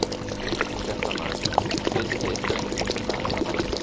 Fréttamaður: Vitið þið eitthvað um uppruna efnanna?